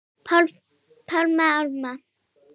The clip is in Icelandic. Páfanum til ama.